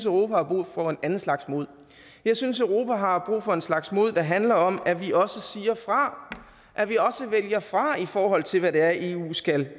europa har brug for en anden slags mod jeg synes at europa har brug for en slags mod der handler om at vi også siger fra at vi også vælger fra i forhold til hvad det er eu skal